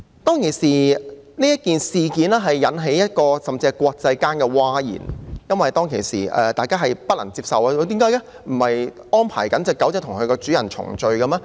這件事當時甚至引致各國譁然，因為大家都不能接受，說不是正安排小狗與主人重聚的嗎？